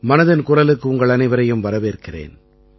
மனதின் குரலுக்கு உங்கள் அனைவரையும் வரவேற்கிறேன்